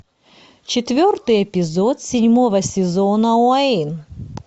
четвертый эпизод седьмого сезона уэйн